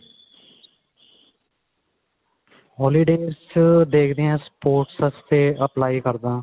holidays ਚ ਦੇਖਦੇ ਆ sports ਵਾਸਤੇ apply ਕਰਦਾ